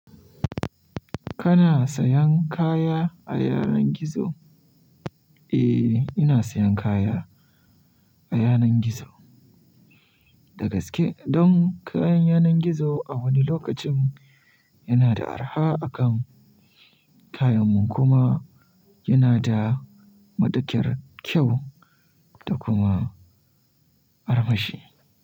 Kana sayan kaya a yanar gizo? Eh, ina sayan kaya a yanar gizo. Dagaske, don kayan yanar gizo a wani lokacin yana da arha akan kayan mu kuma yana da matukar kyau da kuma armashi.